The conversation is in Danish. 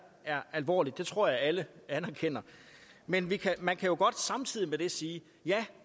er alvorligt det tror jeg at alle anerkender men man kan jo godt samtidig med det sige ja